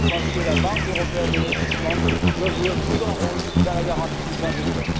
Je pense donc que la Banque européenne d'investissement doit jouer un plus grand rôle dans la garantie du plan Juncker.